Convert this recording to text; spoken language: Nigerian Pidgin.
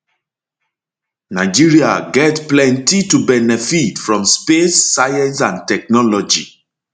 nigeria get plenty to benefit from space science and technology